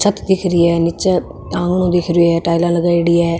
छत दिख री है नीच आंगनों दिख रो है टाइल लगायेडी है।